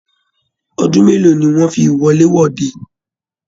Ọdún mélòó ní wọn fí wọlé-wọdè?